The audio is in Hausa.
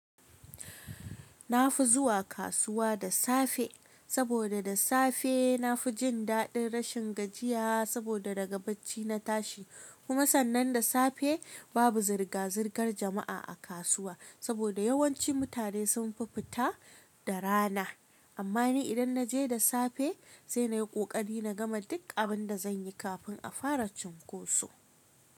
Na fi zuwa kasuwa da safe saboda da safe na fi jin daɗin rashin gajiya saboda daga bacci na tashi. Kuma sannan da safe babu zirga-zirgar jama'a a kasuwa saboda yawanci mutane sunfi fita da rana. Amma ni idan na je da safe, sai na yi ƙoƙari na gama duk abin da zan yi kafin a fara cunkoso.